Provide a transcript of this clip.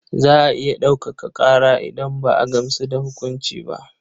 Za a iya ɗaukaka ƙara idan ba a gamsu da hukunci ba.